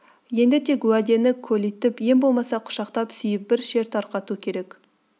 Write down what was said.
енді тек уәдені көлитіп ең болмаса құшақтап сүйіп бір шер тарқату керек